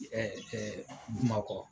Ɛɛ ɛɛ Bumakɔ.